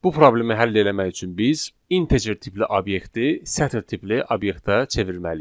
Bu problemi həll eləmək üçün biz integer tipli obyekti sətir tipli obyektə çevirməliyik.